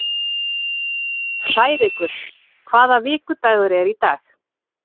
Hrærekur, hvaða vikudagur er í dag?